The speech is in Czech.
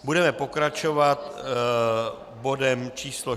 Budeme pokračovat bodem číslo